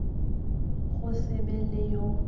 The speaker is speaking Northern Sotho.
go se be le yo